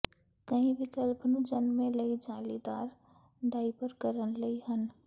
ਕਈ ਵਿਕਲਪ ਨੂੰ ਜਨਮੇ ਲਈ ਜਾਲੀਦਾਰ ਡਾਇਪਰ ਕਰਨ ਲਈ ਹਨ